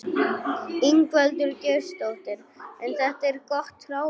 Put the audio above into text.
Ingveldur Geirsdóttir: En þetta er gott hráefni?